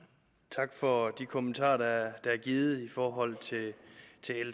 tak for de kommentarer der er givet i forhold til l